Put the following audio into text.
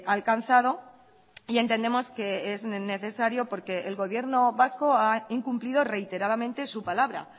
alcanzado y entendemos que es necesario porque el gobierno vasco ha incumplido reiteradamente su palabra